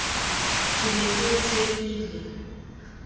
ke ne ke o tshepile